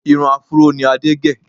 Irun áfúró ni Adé gẹ̀